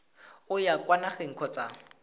o ya kwa nageng kgotsa